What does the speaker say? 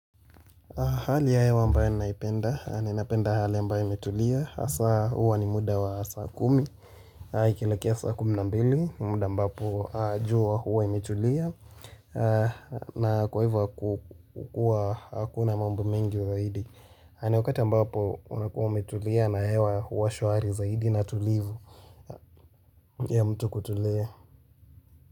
Hali ya hewa ambayo ninaipenda, ninapenda hali ambayo imetulia, hasa huwa ni muda wa saa kumi ikielekea saa kumi na mbili, muda ambapo jua huwa imetulia na kwa hivyo kukua hakuna mambo mengi zaidi haya ni wakati ambapo unakuwa umetulia na hewa huwa shwari zaidi na tulivu ya mtu kutulia.